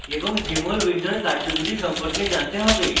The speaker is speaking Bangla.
এবং jmol window কার্যবিধি সম্পর্কে জানতে হবে